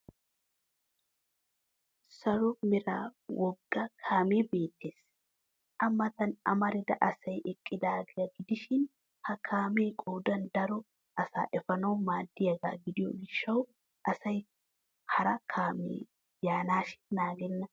Saro Mera wogga kaamee beettes. A Matan amarida asay eqqidaagaa gidishin ha kaamee qoodan daro asaa efanawu maaddiyaagaa gidiyo gishshawu asay hara kaamee yaanaashin naagenna.